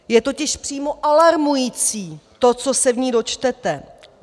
Je totiž přímo alarmující to, co se v ní dočtete.